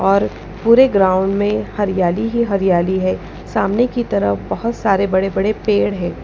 और पूरे ग्राउंड में हरियाली ही हरियाली है सामने की तरफ बहुत सारे बड़े-बड़े पेड़ हैं।